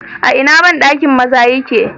A ina bandakin maza yake?